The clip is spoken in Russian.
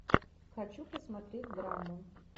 хочу посмотреть драму